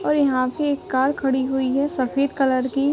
और यहाँ पे एक कार खड़ी हुई है सफ़ेद कलर की।